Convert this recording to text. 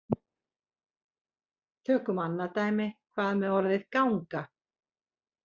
Tökum annað dæmi: Hvað með orðið ganga?